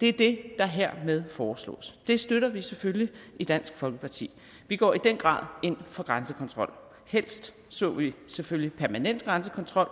det er det der hermed foreslås det støtter vi selvfølgelig i dansk folkeparti vi går i den grad ind for grænsekontrol helst så vi selvfølgelig permanent grænsekontrol